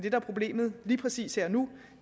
er problemet lige præcis her og nu